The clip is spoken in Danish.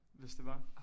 Hvis det var